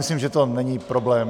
Myslím, že to není problém.